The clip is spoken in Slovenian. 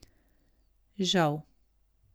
Žal.